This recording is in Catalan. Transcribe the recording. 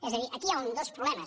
és a dir aquí hi han dos problemes